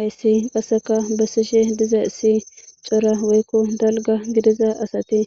Ayssi qasseka bessishe diza issi cora woykko dalga gidiza asati